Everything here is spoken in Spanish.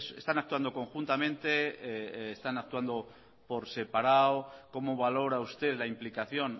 están actuando conjuntamente están actuando por separado cómo valora usted la implicación